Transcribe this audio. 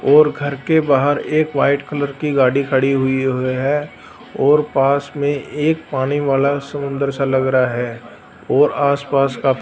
ओर घर के बाहर एक व्हाइट कलर की गाड़ी खड़ी हुई है और पास में एक पानी वाला समुदंर सा लग रहा है और आस पास काफी--